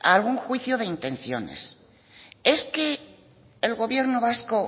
algún juicio de intenciones es que el gobierno vasco